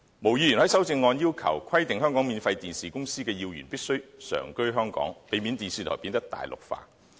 毛議員在修正案要求規定香港免費電視公司的要員必須常居香港，避免電視台變得"大陸化"。